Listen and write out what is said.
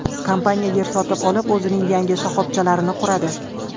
Kompaniya yer sotib olib o‘zining yangi shoxobchalarini quradi.